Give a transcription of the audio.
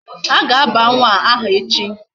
A ga-aba nwa aha echi.